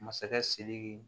Masakɛ sidiki